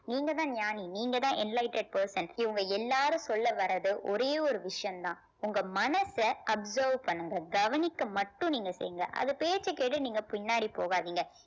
நீங்கதான் ஞயானி நீங்கதான் enlightened person இவங்க எல்லாரும் சொல்ல வர்றது ஒரே ஒரு விஷயம்தான் உங்க மனச absorb பண்ணுங்க கவனிக்க மட்டும் நீங்க செய்ங்க அது பேச்சைக் கேட்டு நீங்க பின்னாடி போகாதீங்க